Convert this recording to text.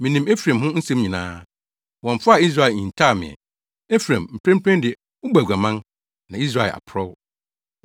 Minim Efraim ho nsɛm nyinaa; wɔmfaa Israel nhintaw me ɛ. Efraim, mprempren de wobɔ aguaman; na Israel aporɔw.